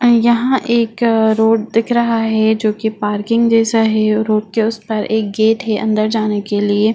यहां एक रोड दिख रहा है जो कि पार्किंग जैसा है रोड के उस पर एक गेट है अंदर जाने के लिए।